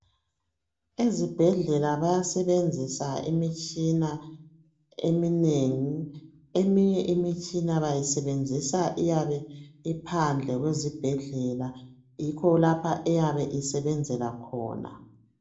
Ezibhedlela bayasebenzisa imitshina eminengi. Eminye imitshina bayisebenzisa iyabe iphandle kwezibhedlela. Yikho lapho eyabe isebenzela khona.